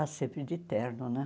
Ah, sempre de terno, né?